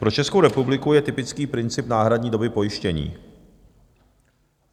Pro Českou republiku je typický princip náhradní doby pojištění.